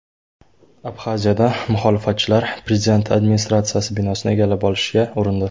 Abxaziyada muxolifatchilar prezident administratsiyasi binosini egallab olishga urindi.